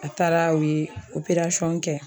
A taara u ye kɛ.